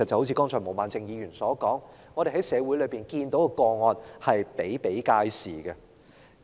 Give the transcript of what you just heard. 正如毛孟靜議員剛才所說，我們在社會上看到的個案比比皆是。